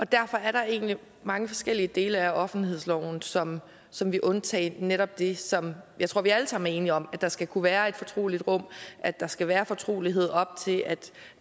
derfor er der egentlig mange forskellige dele af offentlighedsloven som som vil undtage netop det som jeg tror vi alle sammen er enige om nemlig at der skal kunne være et fortroligt rum at der skal være fortrolighed op til